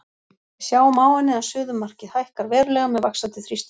Við sjáum á henni að suðumarkið hækkar verulega með vaxandi þrýstingi.